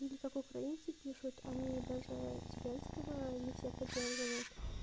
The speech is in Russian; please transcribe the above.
или как украинцы пишут они даже зеленского не все поддерживают